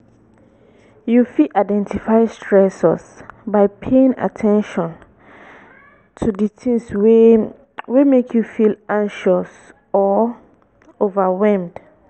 you fit identify stressors by paying at ten tion to di tings wey wey make you feel anxious or overwhelmed.